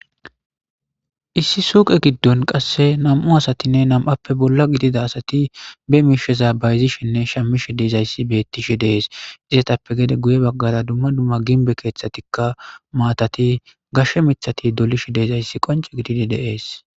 issi suuqe giddon qasse nam7u asatinne nam7appe bolla gidida asati be miishe zabayzishinne shamishe deezayssi bettishi dees izsetappe gede guye baggara dumma dumma ginbe keeththatikka maatati gashshe mithati dolishe deezayssi qonce gididi de7ees.